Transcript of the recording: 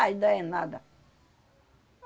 Aí, dá é nada.